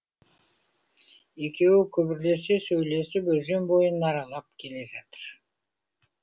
екеуі күбірлесе сөйлесіп өзен бойын аралап келе жатыр